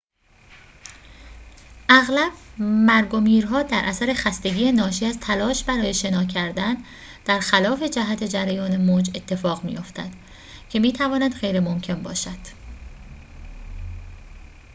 اغلب مرگ و میرها در اثر خستگی ناشی از تلاش برای شنا کردن در خلاف جهت جریان موج اتفاق می‌افتد که می‌تواند غیرممکن باشد